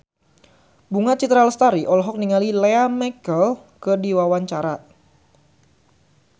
Bunga Citra Lestari olohok ningali Lea Michele keur diwawancara